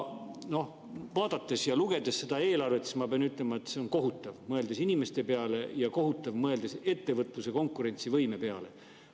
Noh, vaadates ja lugedes seda eelarvet, ma pean ütlema, et see on kohutav, mõeldes inimeste peale, ja kohutav, mõeldes ettevõtluse konkurentsivõime peale.